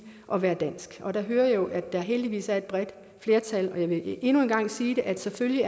at være dansk og der hører jeg jo at der heldigvis er et bredt flertal jeg vil endnu en gang sige at selvfølgelig